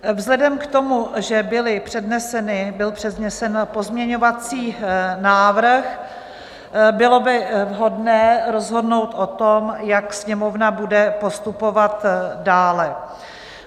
Vzhledem k tomu, že byl přednesen pozměňovací návrh, bylo by vhodné rozhodnout o tom, jak Sněmovna bude postupovat dále.